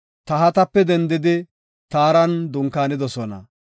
Tahatape dendidi Taaran dunkaanidosona.